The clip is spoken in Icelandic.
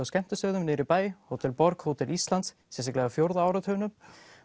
skemmtistöðum niðri í bæ Hótel borg og Hótel Íslandi sérstaklega á fjórða áratugnum